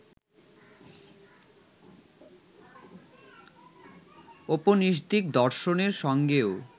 ঔপনিষদিক দর্শনের সঙ্গেও